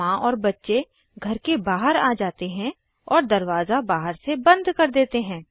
माँ और बच्चे घर के बाहर आ जाते हैं और दरवाज़ा बहार से बंद कर देते हैं